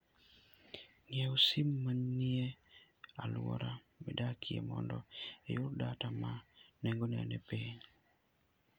Ng'iew sim manie alwora midakie mondo iyud data ma nengone ni piny.